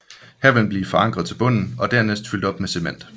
Her vil den blive forankret til bunden og dernæst fyldt op med cement